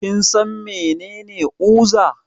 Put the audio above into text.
Kinsan mene uza?